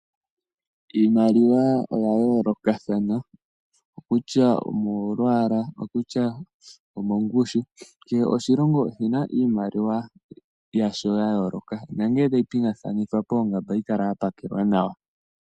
Iimaliwa oya yoolokathana kutya omo lwaala okutya omongushi kehe oshilongo oshina iimaliwa yasho yayooloka onkee tayi pingakanithwa koongamba ohayi kala yapakelwa nawa.